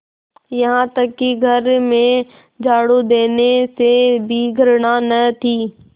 यहाँ तक कि घर में झाड़ू देने से भी घृणा न थी